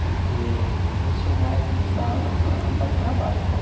Porque eu sou mais de casa para para o trabalho só.